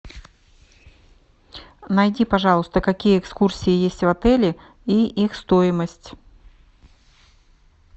найди пожалуйста какие экскурсии есть в отеле и их стоимость